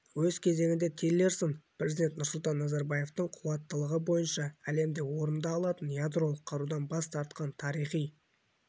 өз кезегінде тиллерсон президент нұрсұлтан назарбаевтың қуаттылығы бойынша әлемде орынды алатын ядролық қарудан бас тартқан тарихи